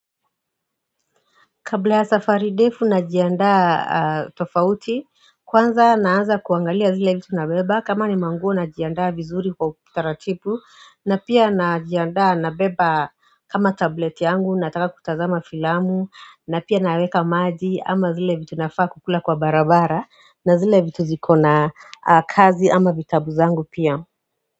Kabla ya safari ndefu najiandaa tofauti kwanza naanza kuangalia zile vitu nabeba kama ni manguo najiandaa vizuri kwa utaratibu na pia najiandaa nabeba kama tablet yangu nataka kutazama filamu na pia naweka maji ama zile vitu nafaa kukula kwa barabara na zile vitu ziko na kazi ama vitabu zangu pia.